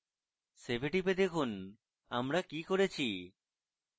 save we টিপে দেখুন আমরা কি করেছি